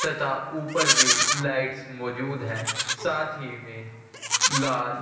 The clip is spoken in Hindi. तथा ऊपर भी लाइट मौजूद है साथ ही मे लाल--